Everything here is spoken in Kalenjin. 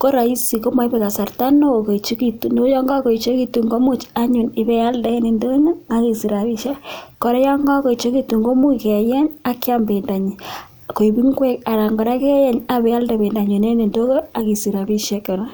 ko roisi, moibe kasarta neo koechegitun. Ago yon kagoechegitun komuch anyun ibeialde en ndonyo ak isich rabishek. Kora yo kagoechegitun komuch keyeny ak keam bendonyin koik ngwek anan kora keyeny ak ibeialde bendonyin en ndonyo ak isich rabishek kora.